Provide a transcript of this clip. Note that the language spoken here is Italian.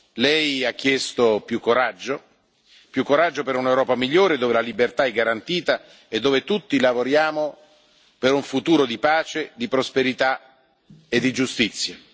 Lei ha chiesto più coraggio per un'Europa migliore, dove la libertà è garantita e dove tutti lavoriamo per un futuro di pace, di prosperità e di giustizia.